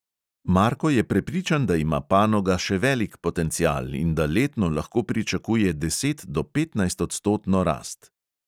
Marko je prepričan, da ima panoga še velik potencial in da letno lahko pričakuje deset do petnajstodstotno rast.